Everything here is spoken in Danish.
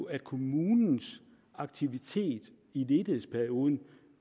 at kommunens aktivitet i ledighedsperioden